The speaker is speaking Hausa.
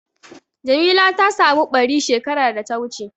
Jamila ta samu ɓari shekar da ta wuce.